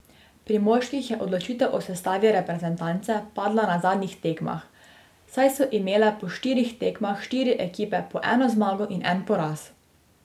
Pri moških je odločitev o sestavi reprezentance padla na zadnjih tekmah, saj so imele po štirih tekmah štiri ekipe po eno zmago in en poraz.